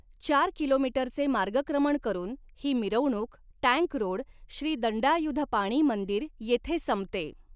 चार किलोमीटरचे मार्गक्रमण करून ही मिरवणूक टँक रोड, श्री दंडायुधपाणी मंदिर येथे संपते.